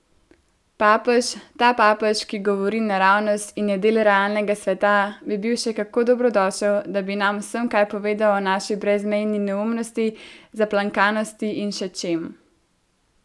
Papež, ta papež, ki govori naravnost in je del realnega sveta, bi bil še kako dobrodošel, da bi nam vsem kaj povedal o naši brezmejni neumnosti, zaplankanosti in še čem.